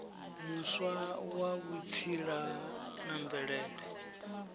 muswa wa vhutsila na mvelele